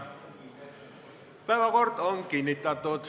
Päevakord on kinnitatud.